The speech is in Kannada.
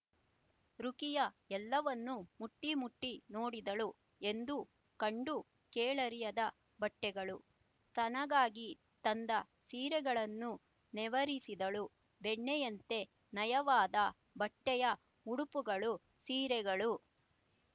ರುಖಿಯಾ ಎಲ್ಲವನ್ನೂ ಮುಟ್ಟಿ ಮುಟ್ಟಿ ನೋಡಿದಳು ಎಂದೂ ಕಂಡೂ ಕೇಳರಿಯದ ಬಟ್ಟೆಗಳು ತನಗಾಗಿ ತಂದ ಸೀರೆಗಳನ್ನೂ ನೇವರಿಸಿದಳು ಬೆಣ್ಣೆಯಂತೆ ನಯವಾದ ಬಟ್ಟೆಯ ಉಡುಪುಗಳು ಸೀರೆಗಳು